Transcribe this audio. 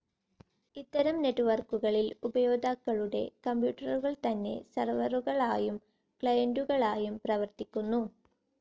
ഇത്തരം നെറ്റ്‌വർക്കുകളിൽ ഉപയോക്താക്കളുടെ കമ്പ്യൂട്ടറുകൾ തന്നെ സർവ്വറുകളായും ക്ലയൻ്റുകളായും പ്രവർത്തിക്കുന്നു.